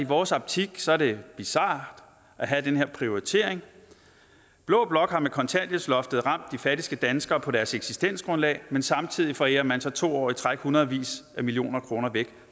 vores optik sådan bizart at have den her prioritering blå blok har med kontanthjælpsloftet ramt de fattigste danskere på deres eksistensgrundlag men samtidig forærer man så to år i træk hundredvis af millioner kroner væk